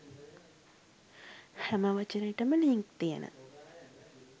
හැම වචනෙටම ලින්ක් තියන